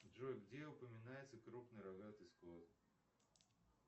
джой где упоминается крупный рогатый скот